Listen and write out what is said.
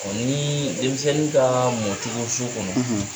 Ɔ ni denmisɛnw ka mɔcogo so kɔnɔ ,.